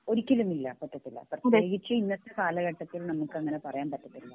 ഒരിക്കലും ഇല്ല പറ്റത്തില്ല പ്രത്യേകിച്ച് ഇന്നത്തെ കാലഘട്ടത്തിൽ നമുക്കങ്ങിനെ പറയാൻ പറ്റത്തില്ല